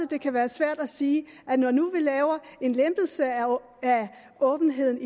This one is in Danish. det kan være svært at sige når nu vi laver en lempelse af åbenheden